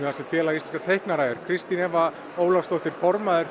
þar sem Félag íslenskra teiknara er Kristín Eva Ólafsdóttir formaður